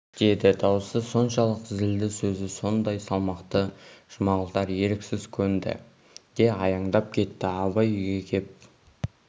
деді даусы соншалық зілді сөзі сондай салмақты жұмағұлдар еріксіз көнді де аяңдап кетті абай үйге кеп